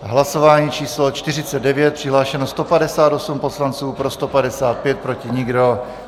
Hlasování číslo 49, přihlášeno 158 poslanců, pro 155, proti nikdo.